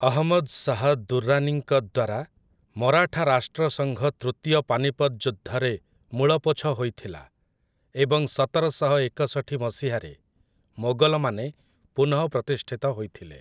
ଅହମ୍ମଦ୍ ଶାହ୍ ଦୁର୍ରାନୀଙ୍କ ଦ୍ୱାରା ମରାଠା ରାଷ୍ଟ୍ରସଙ୍ଘ ତୃତୀୟ ପାନିପତ୍ ଯୁଦ୍ଧରେ ମୂଳପୋଛ ହୋଇଥିଲା, ଏବଂ ସତରଶହ ଏକଷଠି ମସିହାରେ ମୋଗଲମାନେ ପୁନଃପ୍ରତିଷ୍ଠିତ ହୋଇଥିଲେ ।